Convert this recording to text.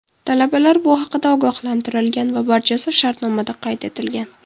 Talabalar bu haqida ogohlantirilgan va barchasi shartnomada qayd etilgan.